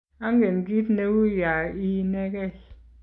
angen kiit neuu ya ii inege